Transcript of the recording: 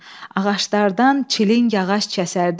Ağaclardan çiling ağac kəsərdik.